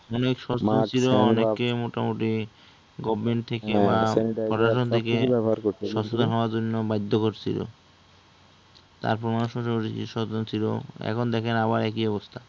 অনেক সচেতন ছিলো অনেকে মোটামুটি, government থেকে বা প্রশাসন থেকে সচেতন হওয়ার জন্য বাধ্য করছিলো তার পর মানুষ সচেতন ছিল এখন দেখেন আবার একই অবস্থা